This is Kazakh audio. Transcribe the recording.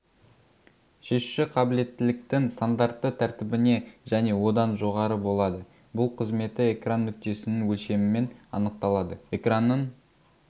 шешуші қабілеттіліктің стандартты тәртібіне және одан жоғары болады бұл қызметі экран нүктесінің өлшемімен анықталады экранның